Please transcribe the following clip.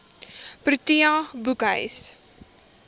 protea boekhuis